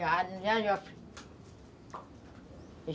Já, já